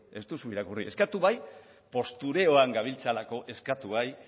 ez duzu irakurri eskatu bai postureoan gabiltzalako eskatu bai